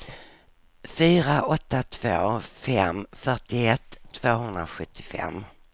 fyra åtta två fem fyrtioett tvåhundrasjuttiofem